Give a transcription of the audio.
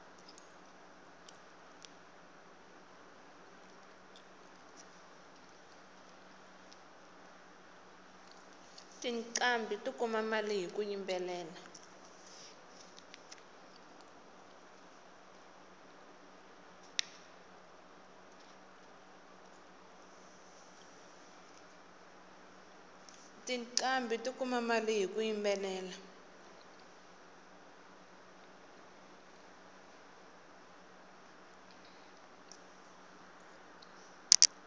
tiqambhi ti kuma mali hiku yimbelela